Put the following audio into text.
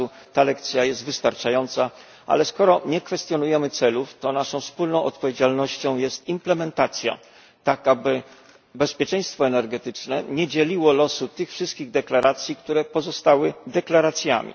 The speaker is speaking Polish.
Ta lekcja jest wystarczająca, ale skoro nie kwestionujemy celów, to naszą wspólną odpowiedzialnością jest implementacja, tak aby bezpieczeństwo energetyczne nie dzieliło losów tych wszystkich deklaracji, które pozostały deklaracjami.